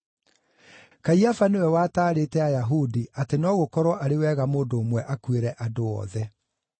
Kaiafa nĩwe wataarĩte Ayahudi atĩ no gũkorwo arĩ wega mũndũ ũmwe akuĩre andũ othe.